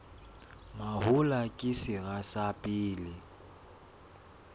mahola ke sera sa pele